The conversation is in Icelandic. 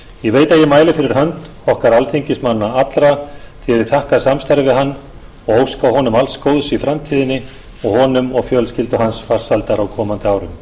ég veit að ég mæli fyrir hönd okkar alþingismanna allra þegar ég þakka samstarfið við hann og óska honum alls góðs í framtíðinni og honum og fjölskyldu hans farsældar á komandi árum